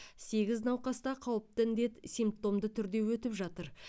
сегіз науқаста қауіпті індет симптомды түрде өтіп жатыр